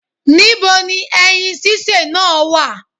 Ní bo ni ẹyin sísè náà wà?